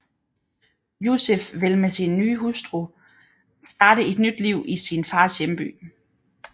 Yusif vil med sin hustru starte et nyt liv i sin fars hjemby